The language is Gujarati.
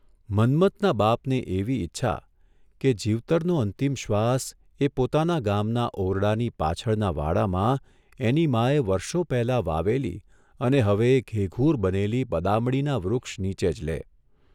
મન્મથના બાપને એવી ઇચ્છા કે જીવતરનો અંતીમ શ્વાસ એ પોતાના ગામના ઓરડાની પાછળના વાડામાં એની માએ વર્ષો પહેલાં વાવેલી અને હવે ઘેઘૂર બનેલી બદામડીના વૃક્ષ નીચે જ લે.